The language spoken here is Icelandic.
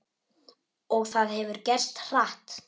Og það hefur gerst hratt.